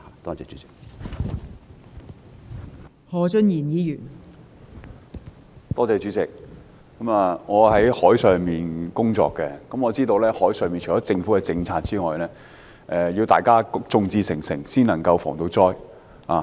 代理主席，我是從事海上工作的，我知道除了政府的政策外，還需要大家眾志成城，才能夠防災。